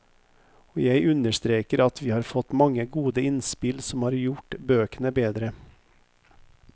Og jeg understreker at vi har fått mange gode innspill som har gjort bøkene bedre.